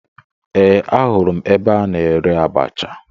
Ee, ahụrụ m ebe a na-ere abacha